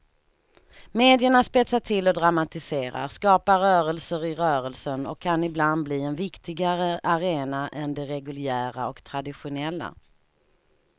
Medierna spetsar till och dramatiserar, skapar rörelser i rörelsen och kan ibland bli en viktigare arena än de reguljära och traditionella.